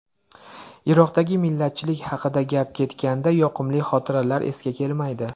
Iroqdagi millatchilik haqida gap ketganda, yoqimli xotiralar esga kelmaydi.